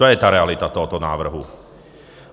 To je ta realita tohoto návrhu.